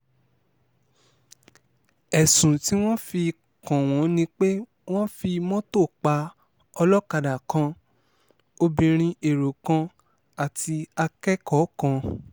ẹ̀sùn tí wọ́n fi kàn wọ́n ni pé wọ́n fi mọ́tò pa ọlọ́kadà kan obìnrin èrò kan àti akẹ́kọ̀ọ́ kan